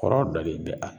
Kɔrɔ dɔ de bɛ a